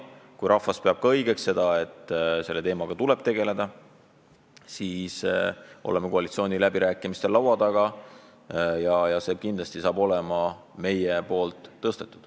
Kui rahvas peab õigeks, et selle teemaga tuleb tegeleda, siis oleme sellega võimalikel koalitsiooniläbirääkimistel laua taga, tõstame selle kindlasti üles.